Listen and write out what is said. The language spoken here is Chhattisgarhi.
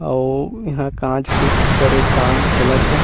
अउ इंहा कांच फिट करेक काम चलत हे।